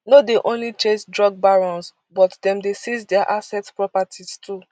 no dey only chase drug barons but dem dey seize dia assets properties too